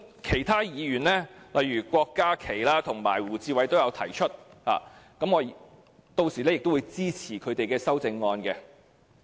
其他議員如郭家麒議員及胡志偉議員也提出同樣的修正案，我屆時會支持他們的修正案。